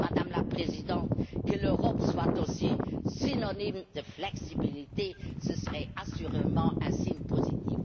Madame la Présidente, que l'Europe soit aussi synonyme de flexibilité, ce serait assurément un signe positif.